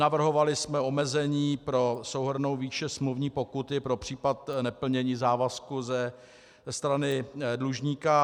Navrhovali jsme omezení pro souhrnnou výši smluvní pokuty pro případ neplnění závazku ze strany dlužníka.